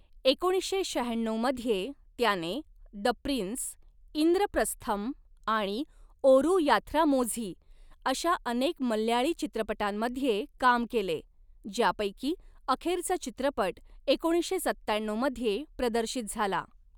एकोणीसशे शहाण्णऊ मध्ये त्याने 'द प्रिन्स', 'इंद्रप्रस्थम' आणि 'ओरू याथ्रामोझी' अशा अनेक मल्याळी चित्रपटांमध्ये काम केले, ज्यापैकी अखेरचा चित्रपट एकोणीसशे सत्त्याण्णऊ मध्ये प्रदर्शित झाला.